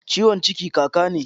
Ciwon ciki kaka ne?